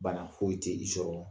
Bana foyi tɛ i sɔrɔ